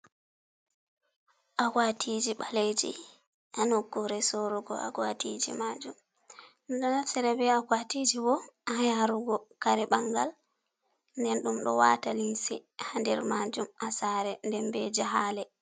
Akwatiji ɓaleji a nokure sorugo, akwatiji majum ɗo naftira ɓe akwatiji bo a yarugo kare bangal, nden ɗum ɗo wata limse haa nder majum asare nden ɓe jehale.